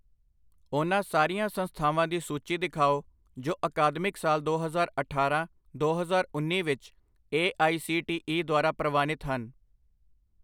ਉਹਨਾਂ ਸਾਰੀਆਂ ਸੰਸਥਾਵਾਂ ਦੀ ਸੂਚੀ ਦਿਖਾਓ ਜੋ ਅਕਾਦਮਿਕ ਸਾਲ ਦੋ ਹਜ਼ਾਰ ਅਠਾਰਾਂ ਦੋ ਹਜ਼ਾਰ ਉੰਨੀ ਵਿੱਚ A I C T E ਦੁਆਰਾ ਪ੍ਰਵਾਨਿਤ ਹਨ।